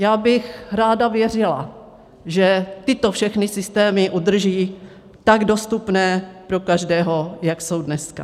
Já bych ráda věřila, že tyto všechny systémy udrží tak dostupné pro každého, jak jsou dneska.